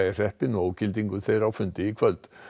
í hreppinn og ógildingu þeirra á fundi í kvöld